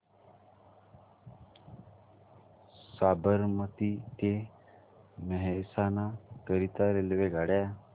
साबरमती ते मेहसाणा करीता रेल्वेगाड्या